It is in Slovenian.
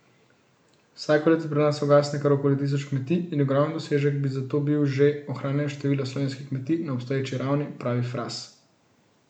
Vsako leto pri nas ugasne kar okoli tisoč kmetij in ogromen dosežek bi zato bil že ohranjanje števila slovenskih kmetij na obstoječi ravni, pravi Fras.